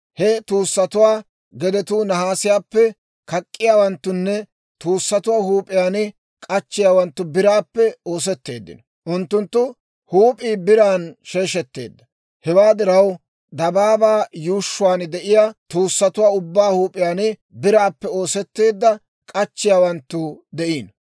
He tuussatuwaa gedetuu nahaasiyaappe, kak'k'iyaawanttunne tuussatuwaa huup'iyaan k'achchiyaawanttu biraappe oosetteeddino; unttunttu huup'ii biran sheeshetteedda. Hewaa diraw, dabaabaa yuushshuwaan de'iyaa tuussatuwaa ubbaa huup'iyaan biraappe oosetteedda k'achchiyaawanttu de'iino.